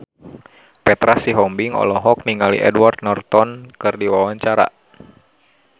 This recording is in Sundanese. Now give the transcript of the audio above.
Petra Sihombing olohok ningali Edward Norton keur diwawancara